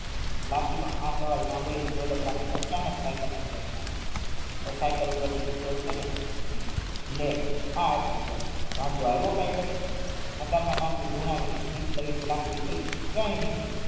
લાખી નો આ સવાલ સાંભડીને દોલતરામ એ અચાનક સાઇકલ ને બ્રેક મારી સાઇકલ પર થી નીચે ઉતાર્યા લે આ વાંધો આવ્યો કાઈ તને ધૂનવી સ્મિથ કરી ને લાખી એ કહ્યું કંઈ નહીં